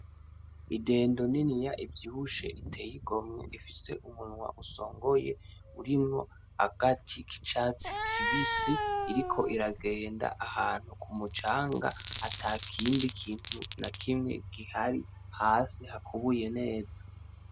Idendo niniya ivyibushe iteye igomwe ifise umunwa usongoye urimwo agati kicatsi kibisi iriko iragenda ahantu kumucanga atakindi kintu nakimwe kihari hasi hakubuye neza.